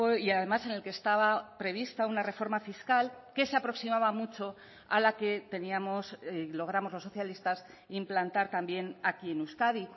y además en el que estaba prevista una reforma fiscal que se aproximaba mucho a la que teníamos logramos los socialistas implantar también aquí en euskadi